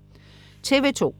TV2: